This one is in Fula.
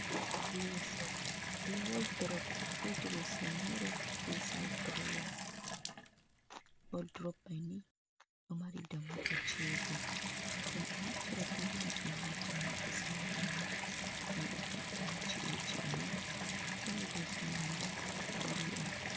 Leso be wordurop, be diresin moro be sa'ed durowa. Woldurop man ni ɗo mari dammuɗe jego. Men ɗo naftira be majum haa faunugo sare amin, men ɗo ve’ita ha ci'eji amin, kolo leso mai nii bulu on.